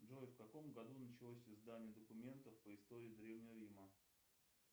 джой в каком году началось издание документов по истории древнего рима